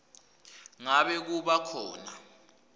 ngabe kuba khona